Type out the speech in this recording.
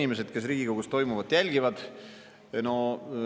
Head inimesed, kes Riigikogus toimuvat jälgivad!